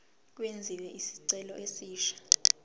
kwenziwe isicelo esisha